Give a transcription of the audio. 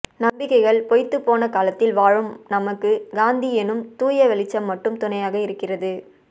நம்பிக்கைகள் பொய்த்துப்போன காலத்தில் வாழும் நமக்கு காந்தி எனும் தூயவெளிச்சம் மட்டும் துணையாக இருக்கிறது